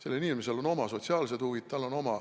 Sellel inimesel on oma sotsiaalsed huvid.